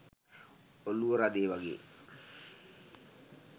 ඔළුව රදේ වගේ